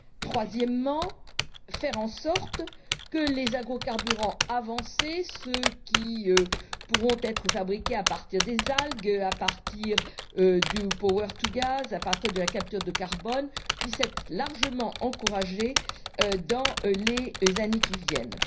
Troisièmement, faire en sorte que les agrocarburants avancés ceux qui pourront être fabriqués à partir des algues, à partir du power to gas à partir de la capture de carbone puissent être largement encouragés dans les années qui viennent.